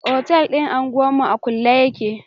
Otel din unguwa mu a kulle yake.